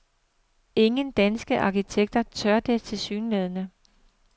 Ingen danske arkitekter tør det tilsyneladende.